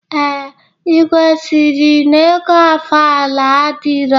Ee, igwe sịrị na ego ofala adirọ